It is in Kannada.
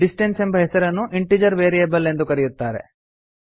ಡಿಸ್ಟನ್ಸ್ ಎಂಬ ಹೆಸರನ್ನು ಇಂಟಿಜೆರ್ ವೇರಿಯೇಬಲ್ ಎಂದು ಕರೆಯುತ್ತಾರೆ